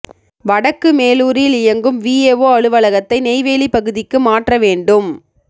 வடக்கு மேலூரில் இயங்கும் விஏஓ அலுவலகத்தை நெய்வேலி பகுதிக்கு மாற்ற வேண்டும்